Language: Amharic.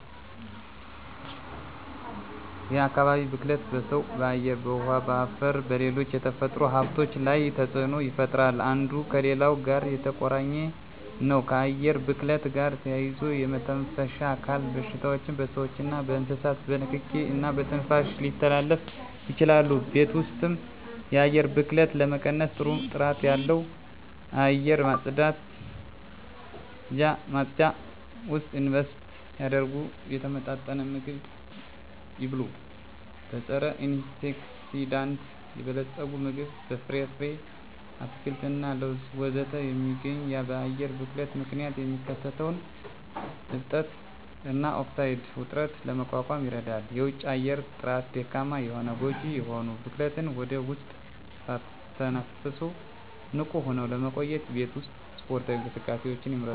የአካባቢ ብክለት በሰው በአየር በውሀ በአፈርና በሌሎች የተፈጥሮ ሀብቶች ላይ ተፅኖ ይፈጥራሉ አንዱ ከሌላው ጋር የተቆራኘ ነው ከአየር ብክለት ጋር ተያይዞ የመተንፈሻ አካል በሽታዎች በስዎችና በእንስሳት በንኪኪ እና በትንፋሽ ሊተላለፉ ይችላሉ የቤት ውስጥ የአየር ብክለትን ለመቀነስ ጥሩ ጥራት ባለው አየር ማጽጃ ውስጥ ኢንቨስት ያድርጉ። የተመጣጠነ ምግብ ይብሉ; በፀረ-አንቲኦክሲዳንት የበለፀገ ምግብ (በፍራፍሬ፣ አትክልት እና ለውዝ ውስጥ የሚገኝ) በአየር ብክለት ምክንያት የሚከሰተውን እብጠት እና ኦክሳይድ ውጥረትን ለመቋቋም ይረዳል። የውጪ አየር ጥራት ደካማ ከሆነ ጎጂ የሆኑ ብክለትን ወደ ውስጥ ሳትተነፍሱ ንቁ ሆነው ለመቆየት የቤት ውስጥ ስፖርታዊ እንቅስቃሴዎችን ይምረጡ።